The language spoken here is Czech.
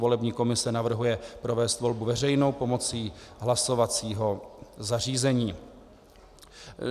Volební komise navrhuje provést volbu veřejnou pomocí hlasovacího zařízení.